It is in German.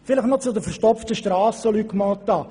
Noch zu den verstopften Strassen, Luc Mentha.